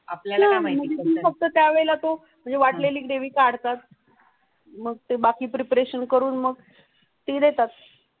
वाटलेली ग्रेव्ही काढतात मग ते बाकी प्रिपेरेशन करून मग ती देतात.